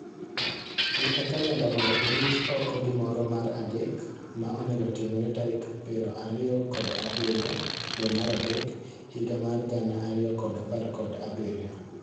Dhi e kalenda mondo iruch okogimoro mar adek ma onego otimre tarik piro ariyo kod abirio dwe mar adek higa mar gana ariyo kod apar kod abirio